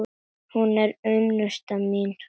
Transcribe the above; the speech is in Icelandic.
Hún er unnusta mín!